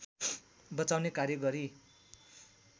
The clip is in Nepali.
बचाउने कार्य गरी